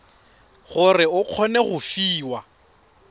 gore o kgone go fiwa